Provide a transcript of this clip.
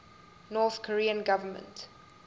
north korean government